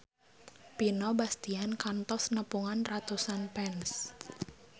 Vino Bastian kantos nepungan ratusan fans